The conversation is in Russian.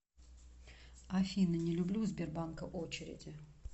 афина не люблю у сбербанка очереди